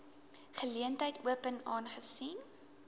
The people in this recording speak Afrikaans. geleentheid open aangesien